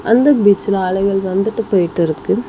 அந்த பீச்சுல அலைகள் வந்துட்டு போய்ட்டிருக்கு.